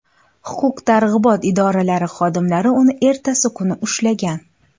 Huquq-tartibot idoralari xodimlari uni ertasi kuni ushlagan.